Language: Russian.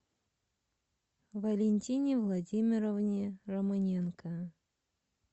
валентине владимировне романенко